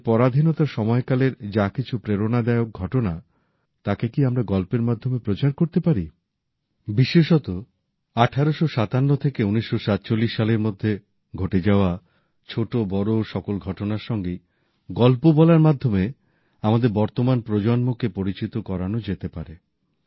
আমাদের পরাধীনতার সময়কালের যা কিছু প্রেরণাদায়ক ঘটনা তাকে কি আমরা গল্পের মাধ্যমে প্রচার করতে পারি বিশেষত ১৮৫৭ থেকে ১৯৪৭ সালের মধ্যে ঘটে যাওয়া ছোট বড় সকল ঘটনার সঙ্গেই গল্প বলার মাধ্যমে আমাদের বর্তমান প্রজন্মকে পরিচিত করানো যেতে পারে